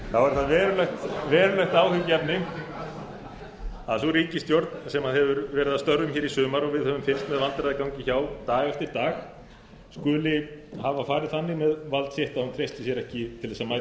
sú ríkisstjórn sem hefur verið að störfum í sumar og við höfum fylgst með vandræðagangi hjá dag eftir dag skuli hafa farið þannig með vald sitt að hún treysti sér ekki til að mæta til